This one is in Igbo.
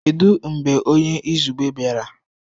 Kedu mgbe onye izugbe bịara?